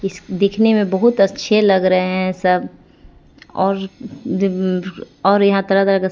इस दिखने में बहुत अच्छे लग रहे है सब और दिब और यहां तरह तरह का--